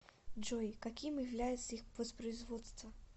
джой каким является их воспроизводство